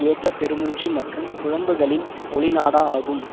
ஏக்கப் பெரு மூச்சு மற்றும் புலம்புகளின் ஒலிநாடா ஆகும்